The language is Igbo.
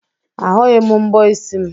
Ahụghị m mbọ isi m.